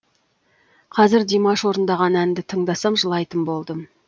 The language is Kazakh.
қазір димаш орындаған әнді тыңдасам жылайтын болдым